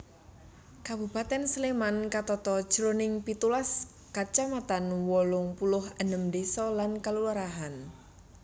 Kabupatèn Sléman katata jroning pitulas kacamatan wolung puluh enem désa lan kalurahan